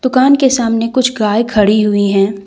दुकान के सामने कुछ गाय खड़ी हुई है।